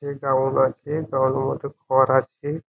দেওয়াল আছে দেওয়াল মতো ঘর আছে ।